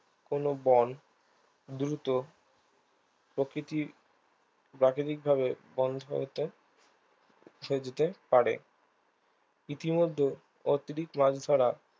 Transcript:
কোনো বন দ্রুত প্রকৃতির প্রাকৃতিক ভাবে বন্ধ্যায়তন রুখে দিতে পারে ইতিমধ্যে অতিরিক্ত লাঞ্ছনা